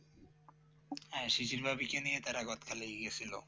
হ্যাঁ শিশির ভাবিকে নিয়ে তারা গাদখালী লয়ে গেছিল